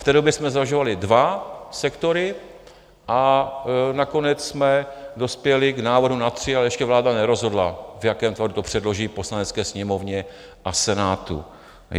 V té době jsme zvažovali dva sektory a nakonec jsme dospěli k návrhu na tři, ale ještě vláda nerozhodla, v jakém tvaru to předloží Poslanecké sněmovně a Senátu.